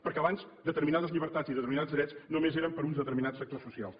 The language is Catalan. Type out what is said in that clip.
perquè abans determinades llibertats i determinats drets només eren per a uns determinats sectors socials